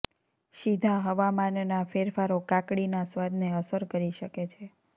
સીધા હવામાનના ફેરફારો કાકડીના સ્વાદને અસર કરી શકે છે